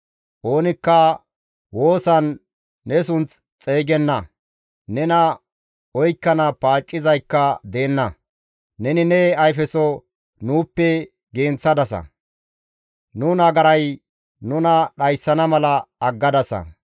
Oonikka woosan ne sunth xeygenna; nena oykkana paaccizaykka deenna; neni ne ayfeso nuuppe genththadasa; nu nagaray nuna dhayssana mala aggadasa.